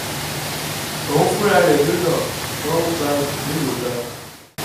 òun fúnra rẹ̀ ló lọ ṣùgbọ́n ó gba oṣù mélòó kan